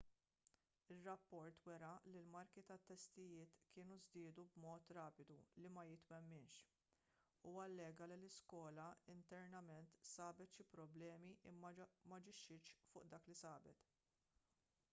ir-rapport wera li l-marki tat-testijiet kienu żdiedu b'mod rapidu li ma jitwemminx u allega li l-iskola internament sabet xi problemi imma m'aġixxietx fuq dak li sabet